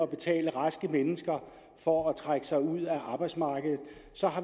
betale raske mennesker for at trække sig ud af arbejdsmarkedet så